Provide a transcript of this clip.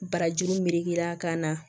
Barajuru melekera ka na